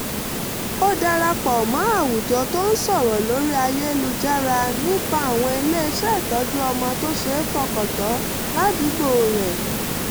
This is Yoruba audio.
ó dara pọ̀ mọ́ àwùjọ tó ń sọ̀rọ̀ lórí ayélujára nípa àwọn ilé-iṣẹ́ ìtọ́jú ọmọ tó ṣeé fọkàntán ládùúgbò rẹ̀